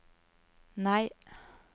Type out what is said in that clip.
nei